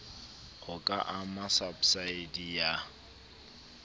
ho ka ama sabsidi ya